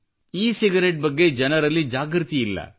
E cigarette ಬಗ್ಗೆ ಜನರಲ್ಲಿ ಜಾಗೃತಿಯಿಲ್ಲ